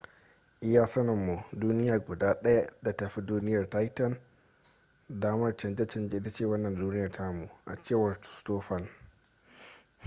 iya sanin mu duniya guda daya da ta fi duniyar titan damar canje canje ita ce wannan duniya tamu a cewar stofan